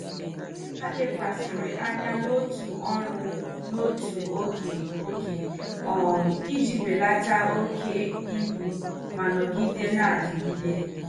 Ha lekwasịrị anya n'otu ọrụ n'otu oge oge um iji belata oke ibu ma nọgide na-adigide.